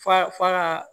Fa fa ka